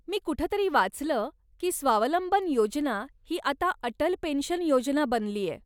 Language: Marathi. मी कुठं तरी वाचलं की स्वावलंबन योजना ही आता अटल पेन्शन योजना बनलीय?